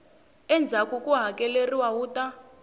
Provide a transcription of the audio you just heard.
endzhaku ku hakeleriwa wu ta